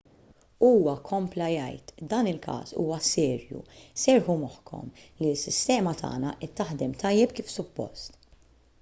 huwa kompla jgħid dan il-każ huwa serju serrħu moħħkom li s-sistema tagħna qed taħdem tajjeb kif suppost